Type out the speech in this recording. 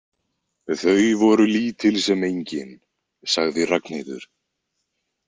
Þau voru lítil sem engin, sagði Ragnheiður.